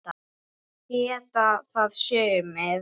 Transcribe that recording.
Það geta það sumir.